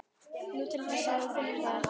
Nú, til þess að þú finnir það ekki.